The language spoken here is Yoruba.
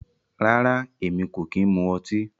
Rárá, Èmi kò kí ń mu ọtí